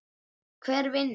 Hver vinnur?